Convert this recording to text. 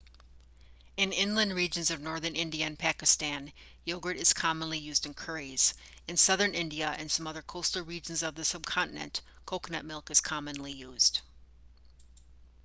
in inland regions of northern india and pakistan yogurt is commonly used in curries in southern india and some other coastal regions of the subcontinent coconut milk is commonly used